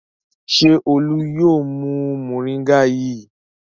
Ṣé Olú yóò mu mòríngà yìí?